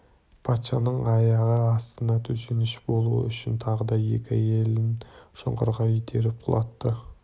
патшаның аяғы астына төсеніш болуы үшін тағы да екі әйелін шұңқырға итеріп құлатты